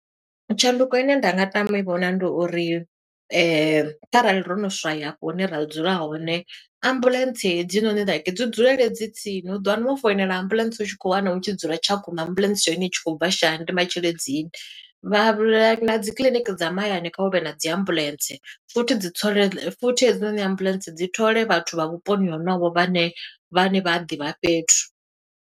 Tshanduko ine nda nga tama u i vhona ndi uri kharali ro no swaya afho hune ra dzula hone, ambuḽentse hedzinoni like dzi dzulele dzi tsini. U ḓo wana wo foinela ambuḽentse u tshi khou wana u tshi dzula Tshakhuma ambuḽentse ya hone i tshi khou bva Shayandima, Tshilidzini. Vha na dzi kiḽiniki dza mahayani kha huvhe na dzi ambuḽentse, futhi dzi tho, futhi hedzinoni ambuḽentse dzi thole vhathu vha vhuponi honovho vhane vhane vha a ḓivha fhethu.